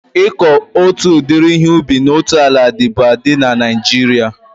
Ịkọ otu udiri ihe ubi na otu ala dịbu adị na Naijiria